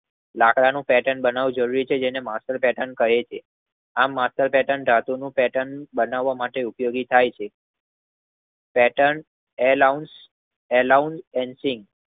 લાકડાની પેર્ટન બનવું જરૂરી છે જેને માસ્ટર કહે છે. આમ માસ્ટર ધાતુનું બનાવ માટે ઉપયોગી થઈ છે પેર્ટન એલાઉન્સ ન સીંગ